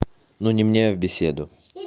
но не мне в беседу